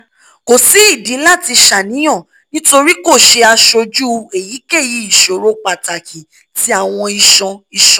ko si idi lati ṣàníyàn nitori ko ṣe aṣoju eyikeyi iṣoro pataki ti awọn iṣan iṣan